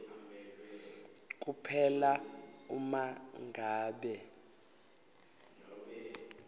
kuphela uma ngabe